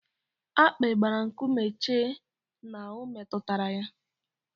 Akpi gbara nkume chee na o metụtara ya.